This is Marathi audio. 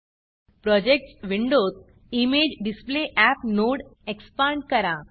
Projectsप्रॉजेक्ट्स विंडोत इमेजेडिसप्लेअप नोड एक्सपांड करा